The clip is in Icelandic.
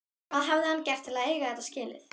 Hvað hafði hann gert til að eiga þetta skilið?